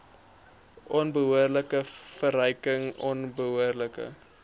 onbehoorlike verryking onbehoorlike